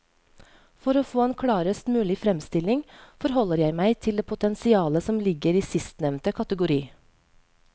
For å få en klarest mulig fremstilling forholder jeg meg til det potensialet som ligger i sistnevnte kategori.